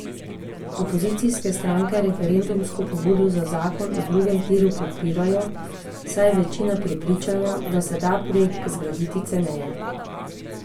Opozicijske stranke referendumsko pobudo za zakon o drugem tiru podpirajo, saj je večina prepričana, da se da projekt zgraditi ceneje.